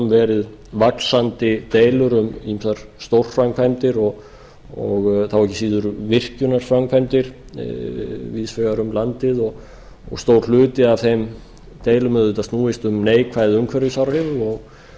verið vaxandi deilur um ýmsar stórframkvæmdir og þá ekki síður virkjunarframkvæmdir víðs vegar um landið og stór hluti af þeim deilum auðvitað snúist kílómetra neikvæð umhverfisáhrif